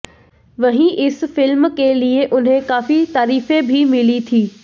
वहीं इस फिल्म के लिए उन्हें काफी तारीफें भी मिली थीं